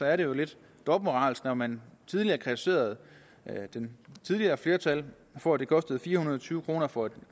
er det jo lidt dobbeltmoralsk når man tidligere kritiserede det tidligere flertal for at det kostede fire hundrede og tyve kroner for et